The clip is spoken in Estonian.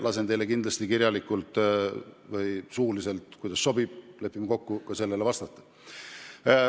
Lasen teile kindlasti kirjalikult või suuliselt – kuidas teile sobib, lepime kokku – vastata.